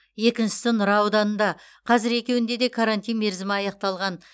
екіншісі нұра ауданында қазір екеуінде де карантин мерзімі аяқталған